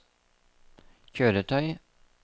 kjøretøy